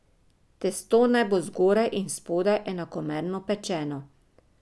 Testo naj bo zgoraj in spodaj enakomerno pečeno.